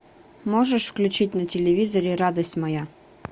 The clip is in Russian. можешь включить на телевизоре радость моя